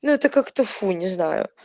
ну это как-то фу не знаю